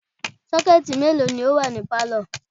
Sọ́kẹ̀tì mélòó ni ó wà ní pálọ̀?